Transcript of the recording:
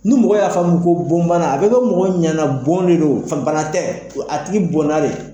Ni mɔgɔ y'a faamu ko bana a bɛ kɛ mɔgɔw ɲana bɔn de don, fa bana tɛ, a tigi bɔnna de.